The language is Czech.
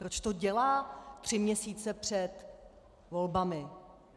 Proč to dělá tři měsíce před volbami?